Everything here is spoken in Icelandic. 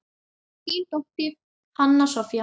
Þín dóttir, Hanna Soffía.